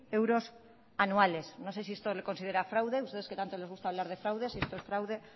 euros anuales no sé si esto usted lo considera fraude a ustedes que tanto les gusta hablar de fraude si esto es fraude